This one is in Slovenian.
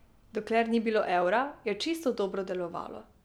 Dokler ni bilo evra, je čisto dobro delovalo.